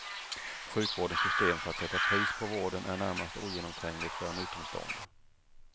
Sjukvårdens system för att sätta pris på vården är närmast ogenomträngligt för en utomstående.